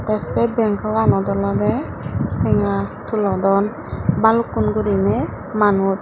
te sei benkoanot olodey tenga tulodon balukkun guriney manuj.